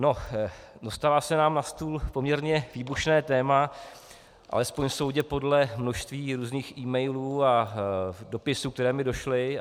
No, dostalo se nám na stůl poměrně výbušné téma, alespoň soudě podle množství různých emailů a dopisů, které mi došly.